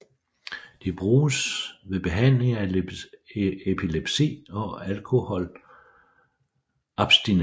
De bruges ved behandling af epilepsi og alkoholabstinenser